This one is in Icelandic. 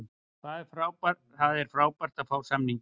Það var frábært að fá samninginn.